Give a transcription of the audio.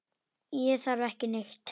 Ég þarf ekki neitt.